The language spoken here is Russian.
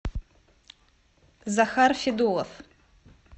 захар федулов